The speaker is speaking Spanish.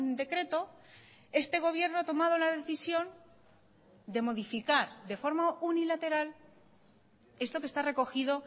decreto este gobierno ha tomado la decisión de modificar de forma unilateral esto que está recogido